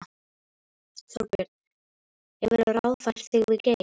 Þorbjörn: Hefurðu ráðfært þig við Geir?